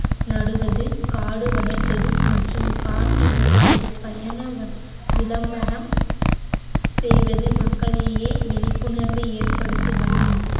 நடுவது காடு வளர்ப்பது மற்றும் காட்டின் பழை~ பயண விளம்பரம் செய்வது மக்களிடையே விழிப்புணர்வு ஏற்படுத்துவதும்